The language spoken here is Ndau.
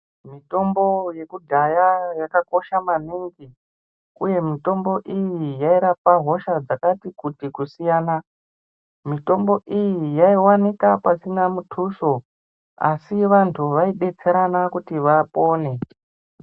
Mitombo yekudhaya yakakosha maningi, uye mitombo iyi yairapa hosha dzakati kuti kusiyana. Mitombo iyi yaivanika pasina mutuso. Asi vantu vaibetserana kuti vapone.